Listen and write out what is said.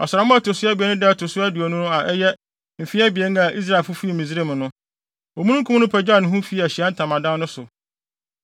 Ɔsram a ɛto so abien no da a ɛto so aduonu no a ɛyɛ mfe abien a Israelfo fii Misraim no, omununkum no pagyaw ne ho fii Ahyiae Ntamadan no so,